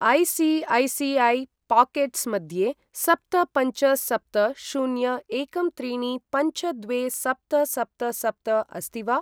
ऐ.सी.ऐ.सी.ऐ.पाकेट्स् मध्ये सप्त पञ्च सप्त शून्य एकं त्रीणि पञ्च द्वे सप्त सप्त सप्त अस्ति वा?